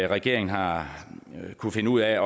regeringen har kunnet finde ud af